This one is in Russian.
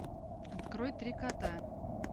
открой три кота